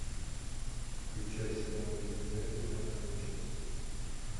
включай сериал ривердейл пятая часть